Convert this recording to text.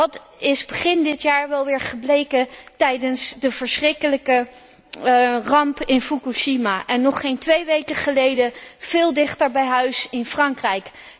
Dat is begin dit jaar wel weer gebleken tijdens de verschrikkelijke ramp in Fukushima en nog geen twee weken geleden, veel dichter bij huis, in Frankrijk.